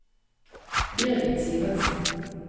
Birgit Sivertsen